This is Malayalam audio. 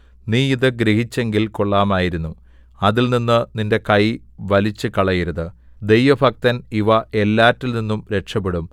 നീ ഇതു ഗ്രഹിച്ചെങ്കിൽ കൊള്ളാമായിരുന്നു അതിൽനിന്ന് നിന്റെ കൈ വലിച്ചുകളയരുത് ദൈവഭക്തൻ ഇവ എല്ലാറ്റിൽ നിന്നും രക്ഷപെടും